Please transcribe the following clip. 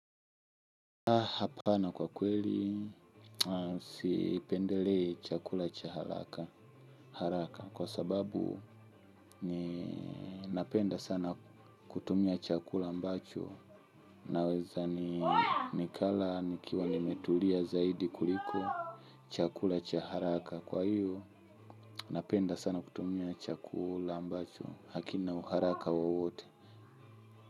Hapana kwa kweli sipendelei chakula cha haraka kwa sababu napenda sana kutumia chakula ambacho naweza nikala nikiwa nimetulia zaidi kuliko chakula cha haraka kwa hiyo napenda sana kutumia chakula ambacho hakina haraka wowote.